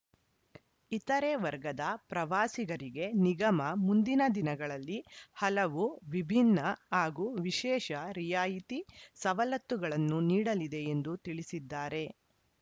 ಇತರೆ ವರ್ಗದ ಪ್ರವಾಸಿಗರಿಗೆ ನಿಗಮ ಮುಂದಿನ ದಿನಗಳಲ್ಲಿ ಹಲವು ವಿಭಿನ್ನ ಹಾಗೂ ವಿಶೇಷ ರಿಯಾಯಿತಿ ಸವಲತ್ತುಗಳನ್ನು ನೀಡಲಿದೆ ಎಂದು ತಿಳಿಸಿದ್ದಾರೆ